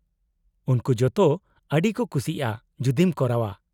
-ᱩᱱᱠᱩ ᱡᱚᱛᱚ ᱟᱹᱰᱤ ᱠᱚ ᱠᱩᱥᱤᱜᱼᱟ ᱡᱩᱫᱤᱢ ᱠᱚᱨᱟᱣᱼᱟ ᱾